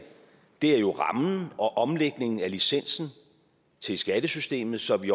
er jo rammen og omlægningen af licensen til skattesystemet så vi